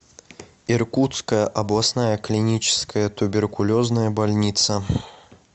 иркутская областная клиническая туберкулезная больница